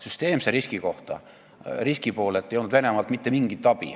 Süsteemse riski poolelt ei tulnud Venemaalt mitte mingit abi.